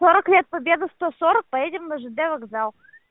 сорок лет победы сто сорок поедем на жд вокзал